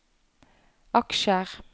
aksjer